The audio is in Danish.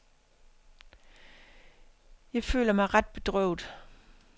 Jeg føler mig ret bedrøvet.